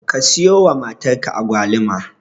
Ka siyowa matarka Agwaluma.